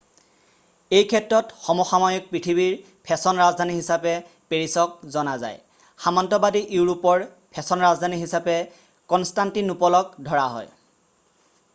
এই ক্ষেত্ৰত সমসাময়িক পৃথিৱীৰ ফেশ্বন ৰাজধানী হিচাপে পেৰিছক জনা যায় সামন্তবাদী ইউৰোপৰ ফেশ্বন ৰাজধানী হিচাপে কনষ্টান্তিনোপলক ধৰা হয়